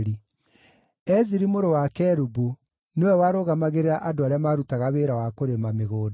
Eziri mũrũ wa Kelubu nĩwe warũgamagĩrĩra andũ arĩa maarutaga wĩra wa kũrĩma mĩgũnda.